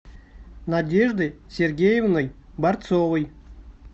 надеждой сергеевной борцовой